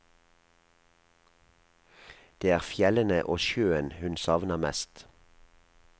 Det er fjellene og sjøen hun savner mest.